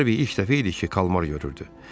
Harvey ilk dəfə idi ki, kalmar görürdü.